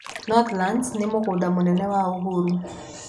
Northlands nĩ mũgũnda mũnene wa Uhuru.